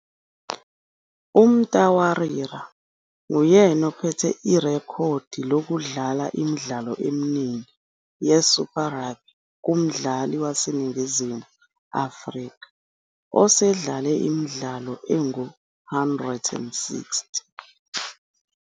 UMtawarira nguyena ophethe irekhodi lokudlala imidlalo eminingi yeSuper Rugby kumdlali waseNingizimu Afrika osedlale imidlalo engu-160.